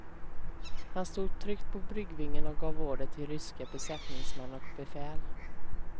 Han stod tryggt på bryggvingen och gav order till ryska besättningsmän och befäl.